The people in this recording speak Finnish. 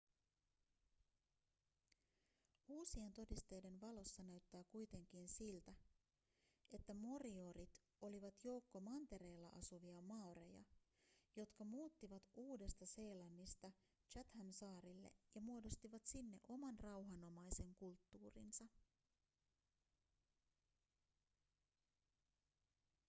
uusien todisteiden valossa näyttää kuitenkin siltä että moriorit olivat joukko mantereella asuvia maoreja jotka muuttivat uudesta-seelannista chathamsaarille ja muodostivat sinne oman rauhanomaisen kulttuurinsa